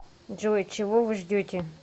джой чего вы ждете